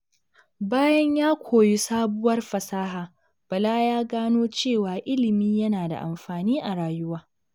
Bayan ya koyi sabuwar fasaha, Bala ya gano cewa ilimi yana da amfani a rayuwa.